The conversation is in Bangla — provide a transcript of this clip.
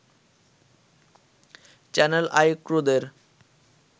channel I ক্রুদের